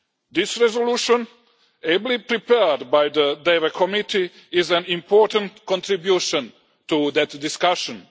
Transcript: This resolution, ably prepared by the Development Committee, is an important contribution to that discussion.